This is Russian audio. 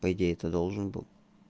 по идеи то должен был